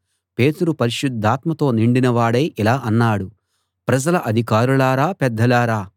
పేతురు పరిశుద్ధాత్మతో నిండిన వాడై ఇలా అన్నాడు ప్రజల అధికారులారా పెద్దలారా